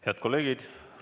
Head kolleegid!